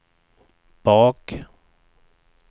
bak